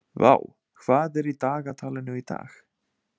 Vár, hvað er í dagatalinu í dag?